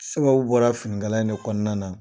Sababu bɔra finikala in de kɔnɔna na.